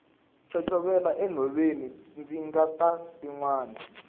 chochovela enhoveni ndzi nga titwangi